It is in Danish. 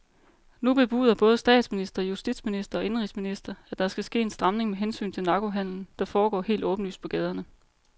Nu bebuder både statsminister, justitsminister og indenrigsminister, at der skal ske en stramning med hensyn til narkohandelen, der foregår helt åbenlyst på gaderne.